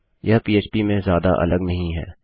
यह पीएचपी में ज्यादा अलग नहीं है